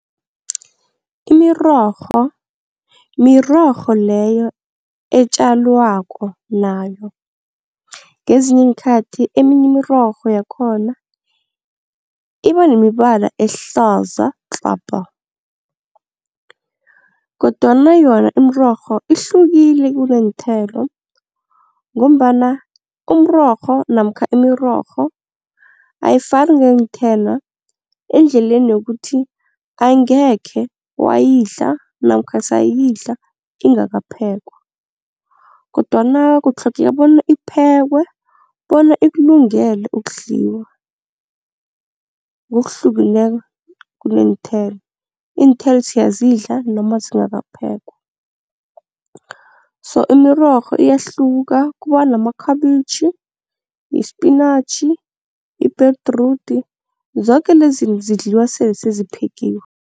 Imirorho mirorho leyo etjalwako nayo, ngezinye iinkhathi eminye imirorho yakhona iba nemibala ehlaza tlapa kodwana yona imirorho ihlukile kuneenthelo ngombana umrorho namkha imirorho ayifani neenthelo endleleni yokuthi angekhe wayidla namkha sayidla ingakaphekwa kodwana kutlhogeka bona iphekwe bona ikulungele ukudliwa. Ngokuhlukileko kuneenthelo, iinthelo siyazidla noma zingakaphekwa so imirorho iyahluka kuba namakhabitjhi, ispinatjhi, ibhedrudi zoke lezinto zidliwa sele seziphekiwe.